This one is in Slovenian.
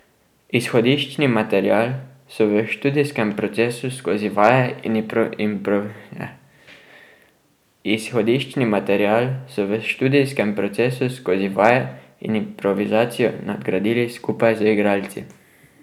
Izhodiščni material so v študijskem procesu skozi vaje in improvizacijo nadgradili skupaj z igralci.